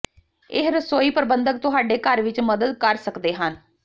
ਇਹ ਰਸੋਈ ਪ੍ਰਬੰਧਕ ਤੁਹਾਡੇ ਘਰ ਵਿੱਚ ਮਦਦ ਕਰ ਸਕਦੇ ਹਨ